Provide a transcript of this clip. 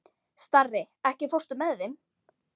Starri, ekki fórstu með þeim?